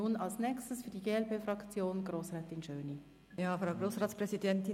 Nun als Nächstes für die glp-Fraktion Grossrätin Schöni.